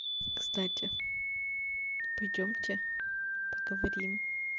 кстати пойдёмте поговорим